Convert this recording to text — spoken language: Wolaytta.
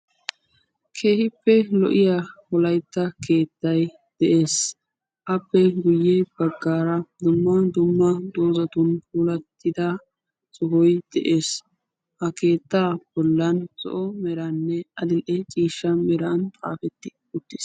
keehippe lo'iya wolaytta keetay des, appe guye bagaara dumma dumma meran puulatida sohoy des, ha keetay zo'onne adil'e ciishsha meran tiyeti utiis,